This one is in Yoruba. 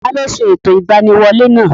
Taló ṣe ẹ̀tọ́ ìgbaniwolẹ́ náà?